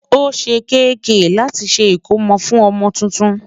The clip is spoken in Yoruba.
ọ̀sè kk láti ṣé ikòmó fún ọmọ túntùn